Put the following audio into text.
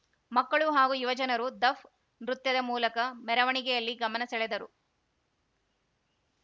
ಮಕ್ಕಳು ಹಾಗೂ ಯುವಜನರು ದಫ್‌ ನೃತ್ಯದ ಮೂಲಕ ಮೆರವಣಿಗೆಯಲ್ಲಿ ಗಮನ ಸೆಳೆದರು